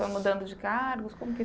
Foi mudando de cargos? Como que